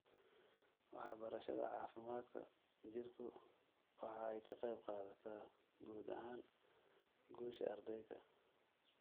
Waxbarashada caafimaadka jirku waxa ay ka qayb qaadataa guud ahaan guusha ardayga.